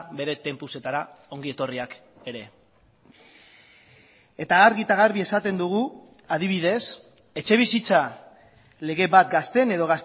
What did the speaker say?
bere tempusetara ongi etorriak ere eta argi eta garbi esaten dugu adibidez etxebizitza lege bat gazteen edo